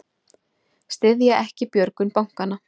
Styðja ekki björgun bankanna